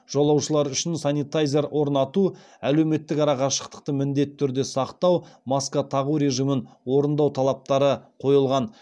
жолаушылар үшін санитайзер орнату әлеуметтік арақашықтықты міндетті түрде сақтау маска тағу режимін орындау талаптары қойылған